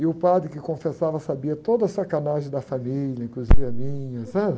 E o padre que confessava sabia toda a sacanagem da família, inclusive a minha.